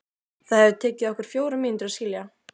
Það hefði tekið okkur fjórar mínútur að skilja.